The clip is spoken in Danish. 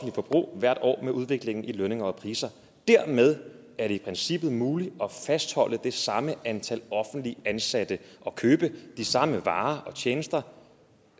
forbrug hvert år med udviklingen i lønninger og priser dermed er det i princippet muligt at fastholde det samme antal offentligt ansatte og købe de samme varer og tjenester